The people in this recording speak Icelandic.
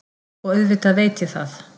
Og auðvitað veit ég það.